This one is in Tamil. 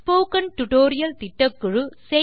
ஸ்போக்கன் டியூட்டோரியல் திட்டக்குழு